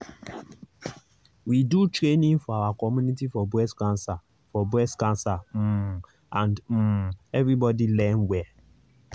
we do training for our community for breast cancer for breast cancer um and um everybody learn well.